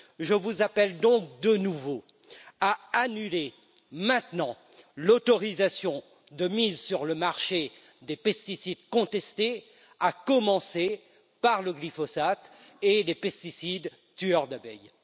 Je vous appelle donc, de nouveau, à annuler maintenant l'autorisation de mise sur le marché des pesticides contestés, à commencer par le glyphosate et les pesticides tueurs d'abeilles.